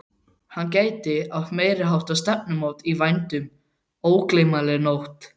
Hann gæti átt meiriháttar stefnumót í vændum, ógleymanlega nótt!